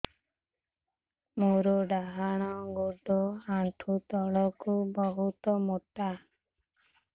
ମୋର ଡାହାଣ ଗୋଡ ଆଣ୍ଠୁ ତଳୁକୁ ବହୁତ ମୋଟା